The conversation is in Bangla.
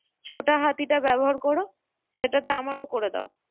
ছোটা হাতিটা ব্যবহার কোরো, সেটাতে আমারও করে দাও।